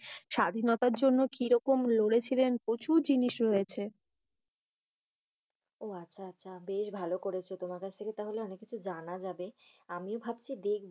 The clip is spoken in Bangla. স্বাধীনতার জন্য কিরকম লড়েছিলেন। প্রচুর জিনিস রয়েছে। আহ আচ্ছা আচ্ছা বেশ ভালো করেছ। তোমার কাছ থেকে তাহলে অনেক কিছু জানা যাবে। আমিও ভাবছি দেখবো।